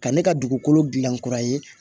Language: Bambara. Ka ne ka dugukolo dilan kura ye